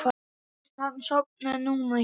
Fyrst hann sofnaði núna hér.